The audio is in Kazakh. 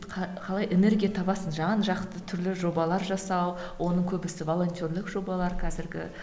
қалай энергия табасың жан жақты түрлі жобалар жасау оның көбісі волонтерлік жобалар қазіргі